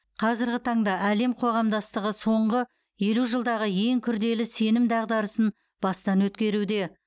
қазіргі таңда әлем қоғамдастығы соңғы елу жылдағы ең күрделі сенім дағдарысын бастан өткеруде